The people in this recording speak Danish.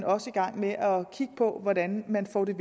også i gang med at kigge på hvordan man får det